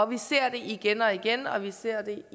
vi ser det igen og igen og vi ser